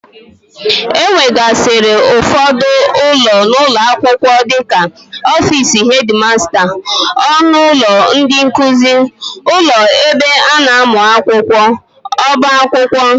E nwegasịrị ụfọdụ ụlọ n'ụlọ akwụkwọ dịka ọfici hedmasta, ọnụ ụlọ ndị nkuzi, ụlọ ebe a na-amụ akwụkwọ, ọba akwụkwọ wdg.